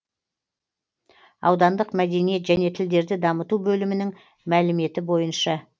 аудандық мәдениет және тілдерді дамыту бөлімінің мәліметі бойынша